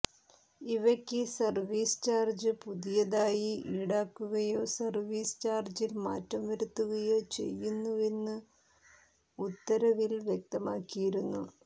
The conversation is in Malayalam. ഇവയ്ക്ക് സർവീസ് ചാർജ് പുതിയതായി ഈടാക്കുകയോ സർവീസ് ചാർജിൽ മാറ്റം വരുത്തുകയോചെയ്യുന്നുവെന്നും ഉത്തരവിൽ വ്യക്തമാക്കിയിരുന്നു